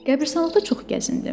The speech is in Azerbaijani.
Qəbiristanlıqda çox gəzindim.